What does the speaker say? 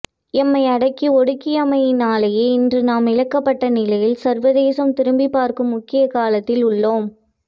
எம்மை அடக்கி ஒடுக்கியமையினாலேயே இன்று நாம் இழக்கப்பட்ட நிலையில் சர்வதேசம் திரும்பிப்பார்க்கும் முக்கிய காலத்தில் உள்ளோம்